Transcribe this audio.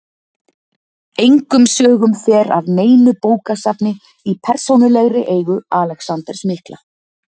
Engum sögum fer af neinu bókasafni í persónulegri eigu Alexanders mikla.